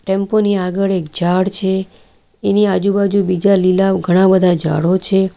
Tempo ની આગળ એક ઝાડ છે એની આજુબાજુ બીજા લીલા ઘણા બધા ઝાડો છે.